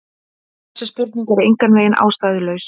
Þessi spurning er engan veginn ástæðulaus.